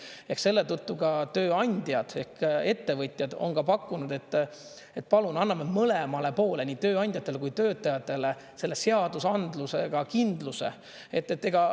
Ehk selle tõttu ka tööandjad ehk ettevõtjad on pakkunud, et palun anname mõlemale poolele, nii tööandjatele kui töötajatele, selle seadusandlusega kindluse.